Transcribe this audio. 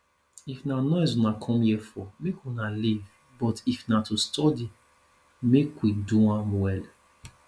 if na noise una come here for make una leave but if na to study make we do am well